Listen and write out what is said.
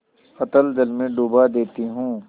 अतल जल में डुबा देती हूँ